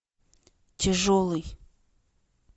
тяжелый